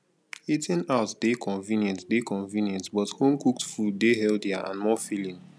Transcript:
eating out dey convenient dey convenient but homecooked food dey healthier and more filling